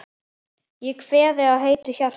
Ég kveð þig heitu hjarta.